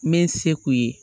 N bɛ se k'u ye